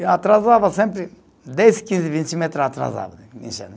Eu atrasava sempre, dez, quinze, vinte metro atrasava, né